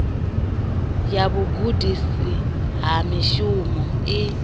ya vhugudisi ha mushumo i